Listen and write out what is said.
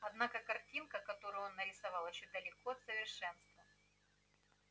однако картина которую он нарисовал ещё далеко от совершенства